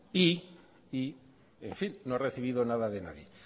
y no ha recibido nada de nadie